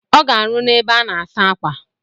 Ọ ga-arụ n'ebe a na-asa akwa.